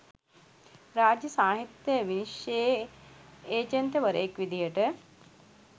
රාජ්‍ය සාහිත්‍ය විනිශ්චයේ ඒජන්තවරයෙක් විදිහට